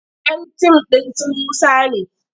Yan tim ɗin su Musa ne.